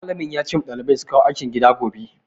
Malamin ya ce ma ɗalibai su kawo aikin gida gobe.